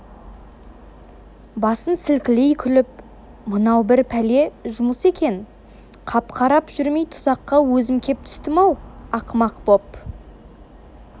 басын сілкілей күліп мынау бір пәле жұмыс екен қап қарап жүрмей тұзаққа өзім кеп түстім-ау ақымақ боп